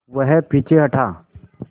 वह पीछे हटा